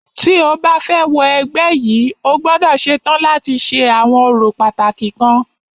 Tí o bá fẹ́ wọ ẹgbẹ́ yìí,o gbọ́dọ̀ ṣetán láti ṣe àwọn orò pàtàkì kan.